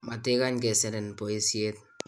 matikany keserin boisiet